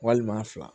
Walima fila